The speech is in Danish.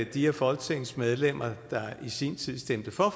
de af folketingets medlemmer der i sin tid stemte for